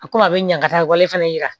A ko a bɛ ɲa ka taa wale fɛnɛ yira